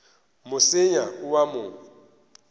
mo senya o a mo